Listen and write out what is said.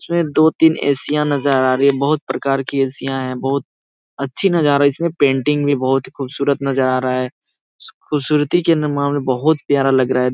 इसमे दो तीन ऐसीयां नजर आ रही हैं। बहुत प्रकार की ऐसीयां हैं। बहुत अच्छी नजारा। इसमें पेंटिंग भी बहुत ही खूबसूरत नजर आ रहा है। ख़ूबसूरती के मामले में बहुत प्यारा लग रहा है।